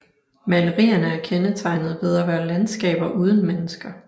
Malerierne er kendetegnet ved at være landskaber uden mennesker